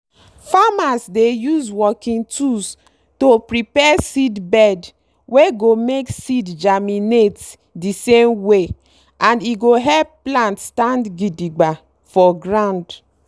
farmers dey use working tools to prepare seedbed wey go make seed germinate dey same way and e go help plant stand gidiba for ground.